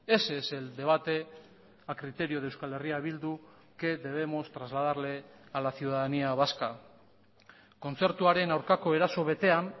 ese es el debate a criterio de euskal herria bildu que debemos trasladarle a la ciudadanía vasca kontzertuaren aurkako eraso betean